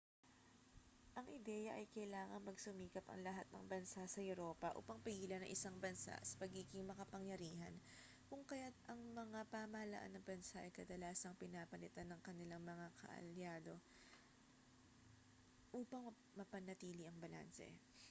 ang ideya ay kailangang magsumikap ang lahat ng bansa sa europa upang pigilan ang isang bansa sa pagiging makapangyarihan kung kaya't ang mga pamahalaan ng bansa ay kadalasang pinapalitan ang kanilang mga kaalyado upang mapanatili ang balanse